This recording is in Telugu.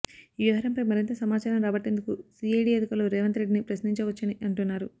ఈ వ్యవహారంపై మరింత సమాచారం రాబట్టేందుకు సిఐడి అధికారులు రేవంత్ రెడ్డిని ప్రశ్నించవచ్చునని అంటున్నారు